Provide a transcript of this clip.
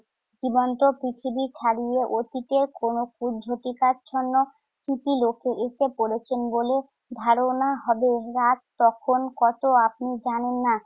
জীবন্ত পৃথিবী ছাড়িয়ে অতীতে কোন কুজ্ঝটিকাচ্ছন্ন ইতিলোকে এসে পড়েছেন বলে ধারণা হবে। রাত তখন কত আপনি জানেন না।